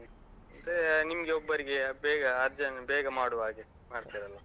ಮತ್ತೆ ನಿಮ್ಗೆ ಒಬ್ಬರಿಗೆ ಬೇಗ urgent ಬೇಗ ಮಾಡುವ ಹಾಗೆ, ಮಾಡ್ತೇವಲ್ಲ.